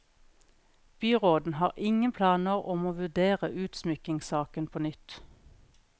Byråden har ingen planer om å vurdere utsmykkingssaken på nytt.